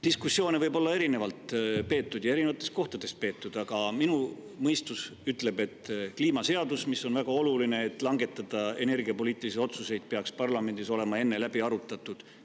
Diskussioone võib olla erinevalt peetud ja erinevates kohtades peetud, aga minu mõistus ütleb, et kliimaseadus, mis on väga oluline, et langetada energiapoliitilisi otsuseid, peaks parlamendis olema enne läbi arutatud.